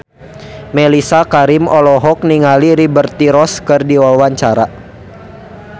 Mellisa Karim olohok ningali Liberty Ross keur diwawancara